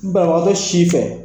Banabagatɔ si fɛ